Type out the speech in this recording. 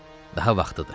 Daha vaxtıdır.